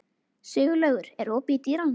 Siglaugur, er opið í Dýralandi?